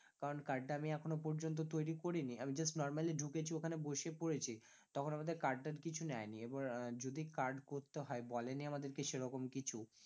কারণ card টা আমি এখনো পর্যন্ত তৈরী করিনি, আমি just normally ঢুকেছি ঐখানে বসে পড়েছি তখন আমাদের card টার্ড কিছু নেয়নি, আবার আহ যদি card করতে হয় বলেনি আমাদেরকে সেরকম কিছু